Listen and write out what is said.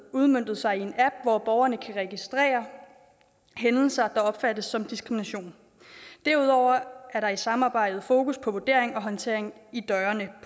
udmøntet sig i en app hvor borgerne kan registrere hændelser der opfattes som diskrimination derudover er der i samarbejdet fokus på vurdering og håndtering i dørene